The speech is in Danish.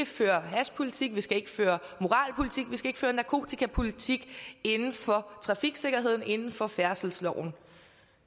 føre hashpolitik at vi ikke skal føre moralpolitik at vi ikke skal føre narkotikapolitik inden for trafiksikkerheden inden for færdselsloven